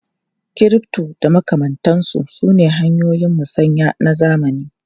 Crypto da makamantansu sune hanyoyin musanya na zamani.